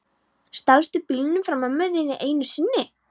Stalstu bílnum frá mömmu þinni enn einu sinni?